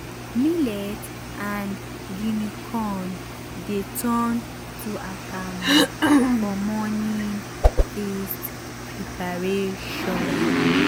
millet and guinea corn dey turn to akamu for morning feast preparation.